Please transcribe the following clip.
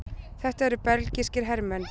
Þetta eru belgískir hermenn.